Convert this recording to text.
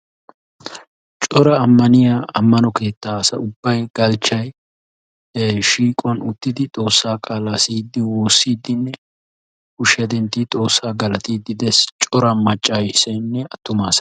Cora ammaniyaa ammano keettaa asa ubbay galchchay he shiiquwan uttidi xoossaa qaalaa siyiidi wossidinne kushiyaa dentti xoossaa galatiidi des. Cora maccasaynne attumaasay